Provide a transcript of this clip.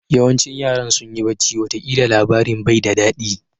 Yawancin yaran sunyi bacci wata kila labarin bai da dadi.